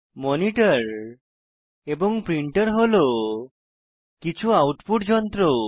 monitor এবং printer হল কিছু আউটপুট যন্ত্র